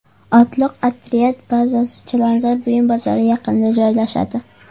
Otliq otryad bazasi Chilonzor buyum bozori yaqinida joylashadi.